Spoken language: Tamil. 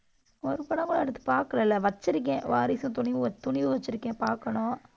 ஒரு படம் கூட அடுத்து பார்க்கலை இல்லை? வச்சிருக்கேன். வாரிசு, துணிவு வ~ துணிவும் வச்சிருக்கேன் பார்க்கணும்.